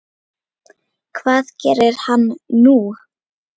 Hvað gerir hann nú?